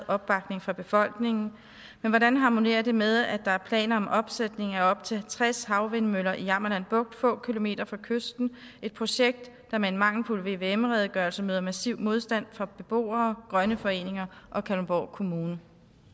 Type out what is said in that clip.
opbakning fra befolkningen men hvordan harmonerer det med at der er planer om opsætning af op til tres havvindmøller i jammerland bugt få kilometer fra kysten et projekt der med en mangelfuld vvm redegørelse møder massiv modstand fra beboere grønne foreninger og kalundborg kommune